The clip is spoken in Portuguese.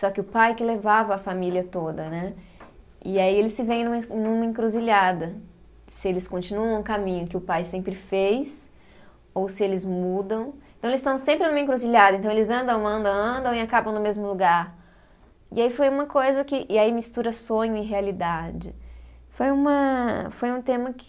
só que o pai que levava a família toda, né, e aí eles se veem numa es, numa encruzilhada, se eles continuam o caminho que o pai sempre fez, ou se eles mudam, então eles estão sempre numa encruzilhada, então eles andam, andam, andam e acabam no mesmo lugar, e aí foi uma coisa que, e aí mistura sonho e realidade, foi uma, foi um tema que,